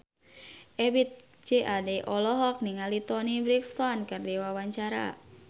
Ebith G. Ade olohok ningali Toni Brexton keur diwawancara